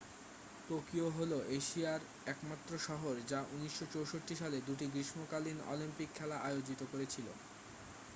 Tokyo হল এশীয়ার একমাত্র শহর যা 1964 সালে দুটি গ্রীষ্মকালীন অলিম্পিক খেলা আয়োজিত করেছিল